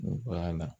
Baara la